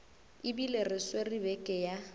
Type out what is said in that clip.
ebile re swere beke ya